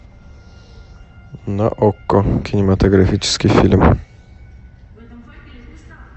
на окко кинематографический фильм